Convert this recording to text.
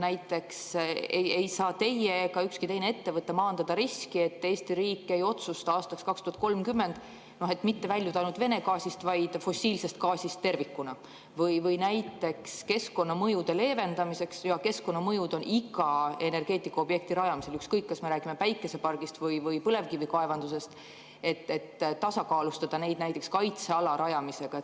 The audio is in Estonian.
Näiteks ei saa teie ega ükski teine ettevõte maandada riski, et Eesti riik ei otsusta aastaks 2030 mitte väljuda ainult Vene gaasist, vaid fossiilsest gaasist tervikuna või näiteks keskkonnamõjude leevendamiseks – ja keskkonnamõjud on iga energeetikaobjekti rajamisel, ükskõik kas me räägime päikesepargist või põlevkivikaevandusest – tasakaalustada näiteks kaitseala rajamisega.